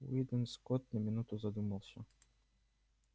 уидон скотт на минуту задумался